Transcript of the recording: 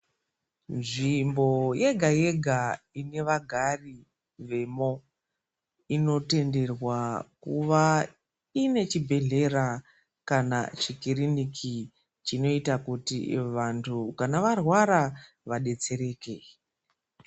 Nzvimbo yega yega inevagari vemo inotenderwa kuva ine chibhedhlera kana chikiriniki chinoita kuti vantu kana varwara vadetsereke.